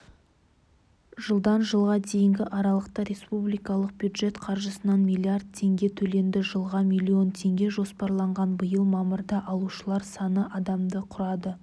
жылдан жылға дейінгі аралықта республикалық бюджет қаржысынан млрд теңге төленді жылға млн теңге жоспарланған биыл мамырда алушылар саны адамды құрады